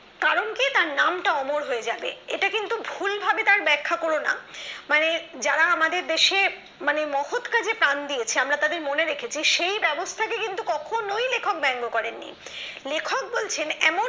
কারণ কি তার নামটা অমর হয়ে যাবে এটা কিন্তু ভুল ভাবে তার ব্যাখ্যা করোনা মানে যারা আমাদের দেশে মানে মহৎ কাজে প্রাণ দিয়েছে আমরা তাদের মনে রেখেছি সেই ব্যবস্থাটা কিন্তু কখনোই লেখক ব্যঙ্গ করেনি লেখক বলছেন এমন